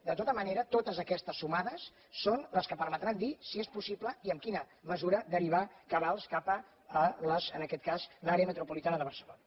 de tota manera totes aquestes sumades són les que permetran dir si és possible i en quina mesura derivar cabals cap a en aquest cas l’àrea metropolitana de barcelona